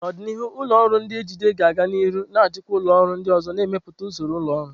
N'ọdịnihu, ụlọ ọrụ na-ejide ga a-ga nihu na-achịkwa ụlọ ọrụ ndị ọzọ, na-emepụta usoro ụlọ ọrụ.